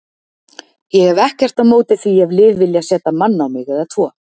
Ég hef ekkert á móti því ef lið vilja setja mann á mig eða tvo.